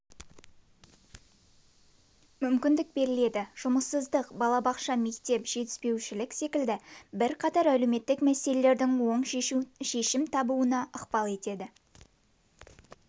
мүмкіндік беріледі жұмыссыздық балабақша мектеп жетіспеушілік секілді бірқатар әлеуметтік мәселелердің оң шешім табуына ықпал етеді